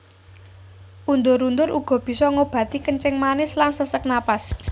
Undur undur uga bisa ngobati kencing manis lan sesek napas